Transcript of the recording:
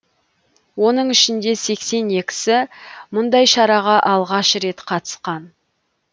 оның ішінде сексен екісі мұндай шараға алғаш рет қатысқан